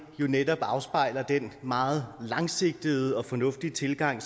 jo netop afspejler den meget langsigtede og fornuftige tilgang